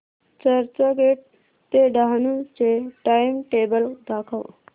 चर्चगेट ते डहाणू चे टाइमटेबल दाखव